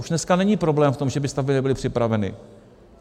Už dneska není problém v tom, že by stavby nebyly připraveny.